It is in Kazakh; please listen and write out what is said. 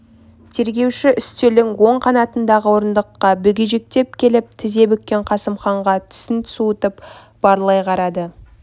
тергеуші үстелдің оң қанатындағы орындыққа бүгежектеп келіп тізе бүккен қосымханға түсін суытып барлай қарады